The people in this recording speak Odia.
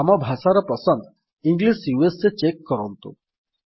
ଆମ ଭାଷାର ପସନ୍ଦ ଇଂଲିଶ ୟୁଏସଏ ଚେକ୍ କରନ୍ତୁ